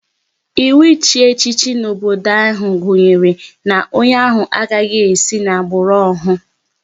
Ịwụ ịchị echichi n'obodo ahụ gunyere na onye ahụ agaghị esi n'agbụrụ ohu